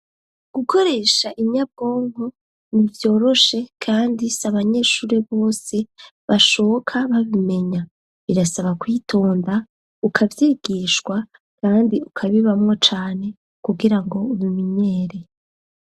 Gukoresha inyabwongo nivyoroshe kandi si abanyeshuri bose bashoka babimenya birasaba kwitonda ukavyigishwa kandi ukabibamwo cane kugira ngo ubimenyere.